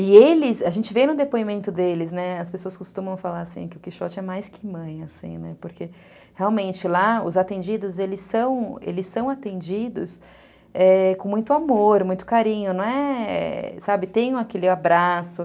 E eles, a gente vê no depoimento deles, né, as pessoas costumam falar assim, que o Quixote é mais que mãe, assim, né, porque realmente lá os atendidos, eles são, eles são atendidos com muito amor, muito carinho, não é, sabe, tem aquele abraço.